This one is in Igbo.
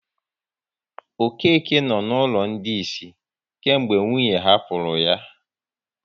Okeke nọ n'ụlọ ndị isi kemgbe nwunye hapụrụ ya